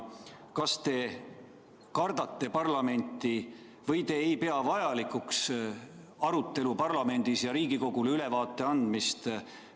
Kas te kardate parlamenti või te ei pea vajalikuks arutelu parlamendis ja Riigikogule ülevaate andmist?